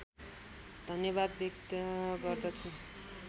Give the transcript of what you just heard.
धन्यवाद व्यक्त गर्दछु